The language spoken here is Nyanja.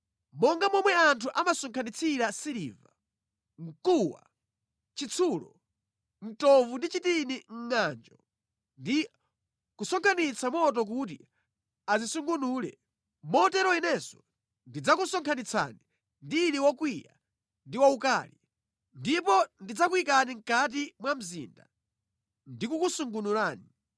Monga momwe anthu amasonkhanitsira siliva, mkuwa, chitsulo, mtovu ndi chitini mʼngʼanjo ndi kusonkhetsa moto kuti azisungunule, motero Inenso ndidzakusonkhanitsani ndili wokwiya ndi waukali, ndipo ndidzakuyikani mʼkati mwa mzinda, ndikukusungunurani.